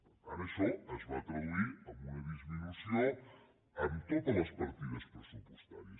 per tant això es va traduir en una disminució en totes les partides pressupostàries